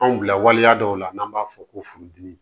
Anw bila waliya dɔw la n'an b'a fɔ ko furudimi